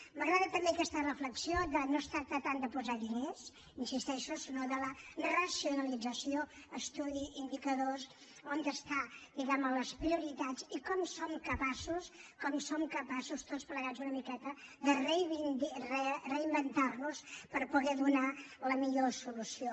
m’agrada també aquesta reflexió de que no es tracta tant de posar diners hi insisteixo sinó de la racionalització estudi indicadors on estan diguem ne les prioritats i com som capaços com som capaços tots plegats una miqueta de reinventar nos per poder donar la millor solució